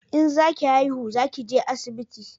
In za ki haihu za ki je asibiti